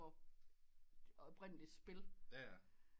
Det oprindelige spil